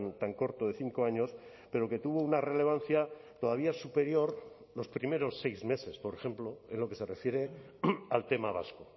tan corto de cinco años pero que tuvo una relevancia todavía superior los primeros seis meses por ejemplo en lo que se refiere al tema vasco